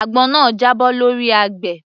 Àgbọn náà jábọ́ lọ́rí àgbẹ̀